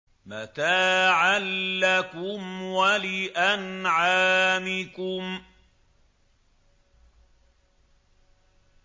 مَّتَاعًا لَّكُمْ وَلِأَنْعَامِكُمْ